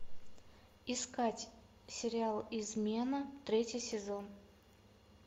искать сериал измена третий сезон